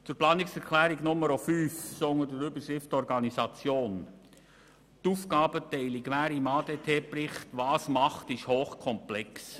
Zur Planungserklärung 5 mit der Überschrift Organisation: Wer gemäss ADT-Bericht was macht, ist hochkomplex.